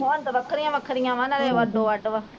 ਹੁਣ ਤੇ ਵੱਖਰੀਆਂ ਵੱਖਰੀਆਂ ਵਾ ਨਾਲੇ ਉਹ ਅੱਡੋ ਅੱਡ ਵਾ।